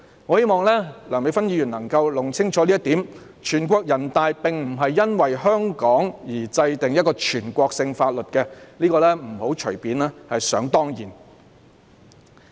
我希望梁美芬議員能夠弄清這一點，全國人大常委會並非因為香港而制定一項全國性法律，不要隨便想當然。